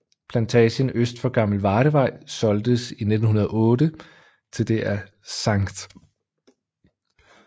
Plantagen øst for Gammel Vardevej solgtes i 1908 til det af St